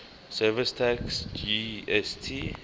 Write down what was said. services tax gst